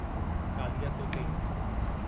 कालियासोते